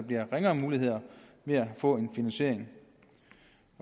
giver ringere muligheder for finansiering